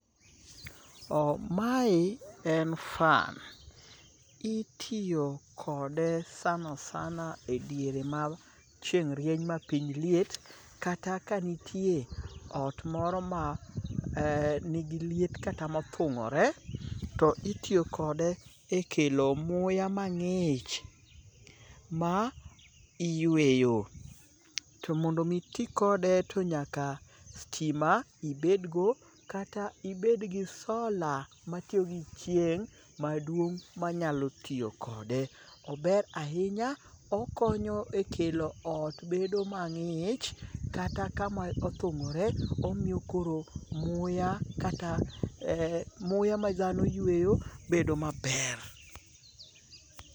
Mae en fan. Itiyo kode sana sana e diere ma chieng' rieny mapiny liet kata ka nitie ot moro ma nigi liet kata mothung'ore to itiyo kode e kelo muya mang'ich ma iyueyo. To mondo omi iti kode to nyaka stima ibedgo kata ibedgi sola matiyo gi chieng' maduong' manyalo tiyo kode. Ober ahinya okonyo e kelo ot bedo mang'ich kata kama othung'ore omiyo koro muya kata muya madhano yueyo bedo maber.